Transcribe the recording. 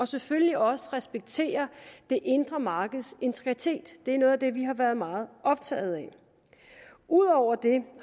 selvfølgelig også respektere det indre markeds integritet det er noget af det vi har været meget optaget af ud over det